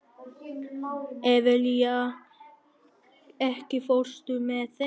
Evelía, ekki fórstu með þeim?